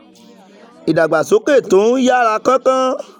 ìdàgbàsókè tó ń ń yára kánkán